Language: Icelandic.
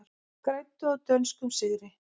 Græddu á dönskum sigri